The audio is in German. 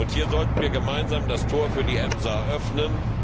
Hier sollten wir gemeinsam das Tor für die EMSA öffnen.